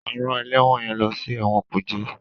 A rán ẹlẹwọn yẹn lọ si ẹwọn kuje